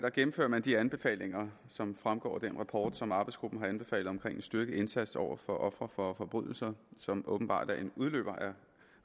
gennemfører man de anbefalinger som fremgår af den rapport som arbejdsgruppen har anbefalet om en styrket indsats over for ofre for forbrydelser som åbenbart er en udløber af